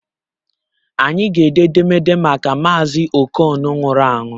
Anyị ga-ede edemede maka Mazi okon nwụrụ anwụ